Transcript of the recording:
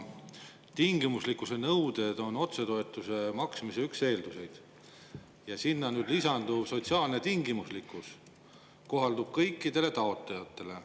Tingimuslikkuse nõuded on otsetoetuste maksmise üks eeldusi ja sinna lisanduv sotsiaalne tingimuslikkus kohaldub kõikidele taotlejatele.